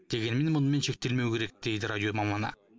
дегенмен мұнымен шектелмеу керек дейді радио маманы